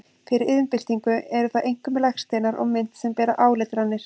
Fyrir iðnbyltingu eru það einkum legsteinar og mynt sem bera áletranir.